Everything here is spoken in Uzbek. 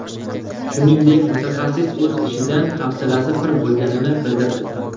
Shuningdek, mutaxassis o‘z ishidan hafsalasi pir bo‘lganini bildirdi.